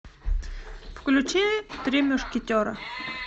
включи три мушкетера